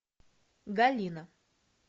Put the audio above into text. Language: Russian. галина